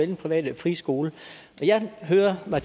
den private frie skole jeg hører at